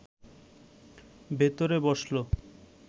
ভেতরে বসল